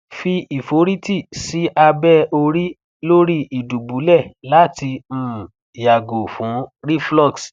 fi iforiti si abe ori lori idubulẹ̀ lati um yago fun reflux